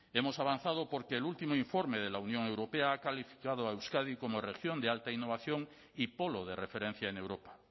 hemos avanzado porque el último informe de la unión europea ha calificado a euskadi como región de alta innovación y polo de referencia en europa